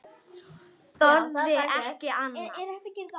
Þorði ekki annað.